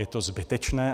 Je to zbytečné.